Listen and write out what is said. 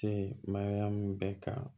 Se ma min bɛ ka